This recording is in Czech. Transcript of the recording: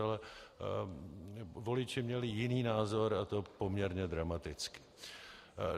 Ale voliči měli jiný názor, a to poměrně dramaticky.